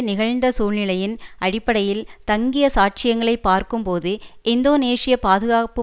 நிகழ்ந்த சூழ்நிலையின் அடிப்படையில் தங்கிய சாட்சியங்களை பார்க்கும் போது இந்தோனேசிய பாதுகாப்பு